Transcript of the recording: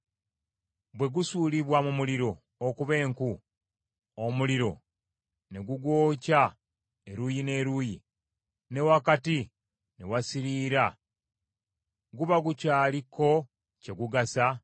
Bwe gusuulibwa mu muliro okuba enku, omuliro ne gugwokya eruuyi n’eruuyi, ne wakati ne wasiriira guba gukyaliko kye gugasa?